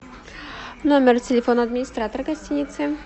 номер телефона администратора гостиницы